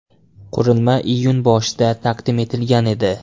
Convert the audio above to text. Qurilma iyun boshida taqdim etilgan edi.